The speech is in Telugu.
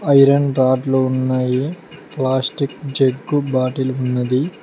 ఐరన్ రాడ్ లు ఉన్నాయి ప్లాస్టిక్ జగ్ బాటిల్ ఉన్నది.